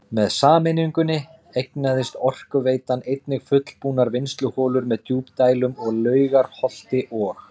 Með sameiningunni eignaðist Orkuveitan einnig fullbúnar vinnsluholur með djúpdælum að Laugarholti og